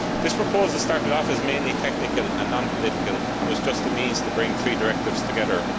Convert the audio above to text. This proposal started off as mainly technical and non political and was just a means to bring three directives together.